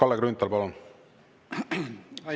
Kalle Grünthal, palun!